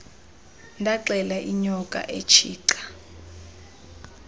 ndaxela inyoka etshica